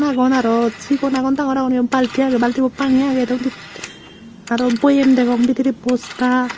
gon aro sigon agon dangor agon iyot balti agey baltibot pani agey undi aro boyem degong undi bosta.